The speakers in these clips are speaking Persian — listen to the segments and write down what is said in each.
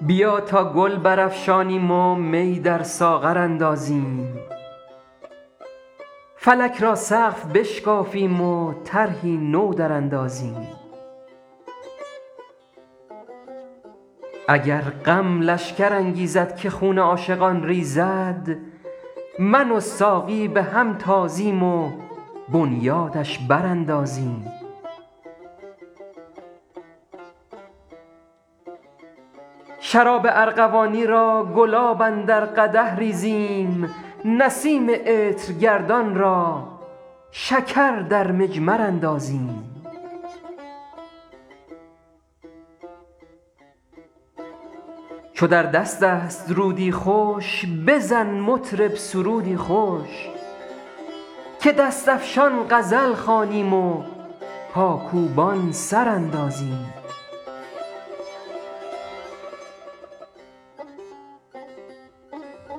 بیا تا گل برافشانیم و می در ساغر اندازیم فلک را سقف بشکافیم و طرحی نو دراندازیم اگر غم لشکر انگیزد که خون عاشقان ریزد من و ساقی به هم تازیم و بنیادش براندازیم شراب ارغوانی را گلاب اندر قدح ریزیم نسیم عطرگردان را شکر در مجمر اندازیم چو در دست است رودی خوش بزن مطرب سرودی خوش که دست افشان غزل خوانیم و پاکوبان سر اندازیم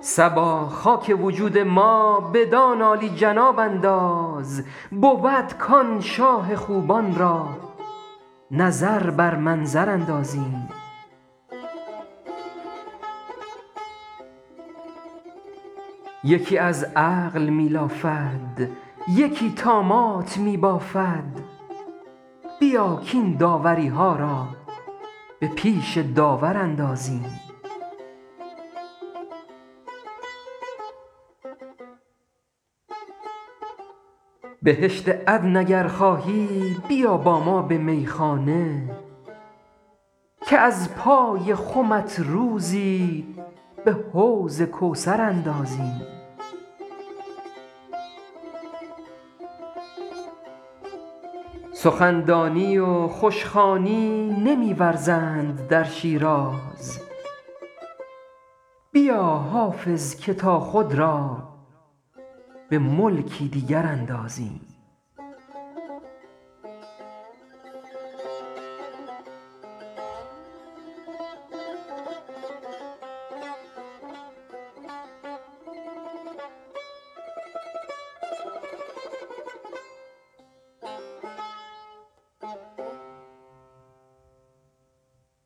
صبا خاک وجود ما بدان عالی جناب انداز بود کآن شاه خوبان را نظر بر منظر اندازیم یکی از عقل می لافد یکی طامات می بافد بیا کاین داوری ها را به پیش داور اندازیم بهشت عدن اگر خواهی بیا با ما به میخانه که از پای خمت روزی به حوض کوثر اندازیم سخن دانی و خوش خوانی نمی ورزند در شیراز بیا حافظ که تا خود را به ملکی دیگر اندازیم